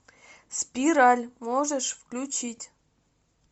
спираль можешь включить